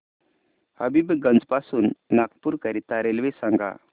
हबीबगंज पासून नागपूर करीता रेल्वे सांगा